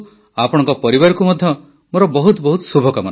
ଆପଣଙ୍କ ପରିବାରକୁ ମଧ୍ୟ ମୋର ବହୁତ ବହୁତ ଶୁଭକାମନା